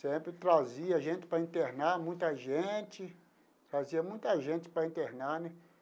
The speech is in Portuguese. Sempre, trazia gente para internar, muita gente, trazia muita gente para internar, né.